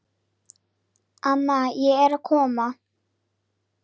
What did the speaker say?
Amma ég er komin